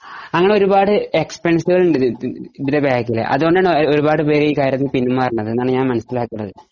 അങ്ങനെ ഒരുപാട് എക്സ്‌പെൻസീവ് വുകൾ ഉണ്ട് ഇതിന്റെ ബെക്ക് ഇൽ അതുകൊണ്ടാണ് ഒരുപാട് പേര് പിന്മാറുന്നത് എന്നാണ് ഞാൻ മനസ്സിലാകുന്നത്